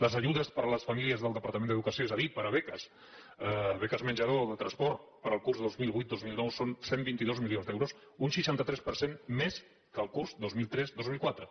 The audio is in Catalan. les ajudes per a les famílies del departament d’educació és a dir per a beques beques menjador o de transport per al curs dos mil vuit dos mil nou són cent i vint dos milions d’euros un seixanta tres per cent més que el curs dos mil tres dos mil quatre